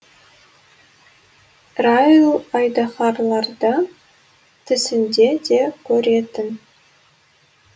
райл айдаһарларды түсінде де көретін